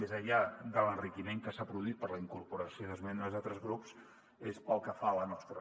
més enllà de l’enri·quiment que s’ha produït per la incorporació d’esmenes d’altres grups és pel que fa a la nostra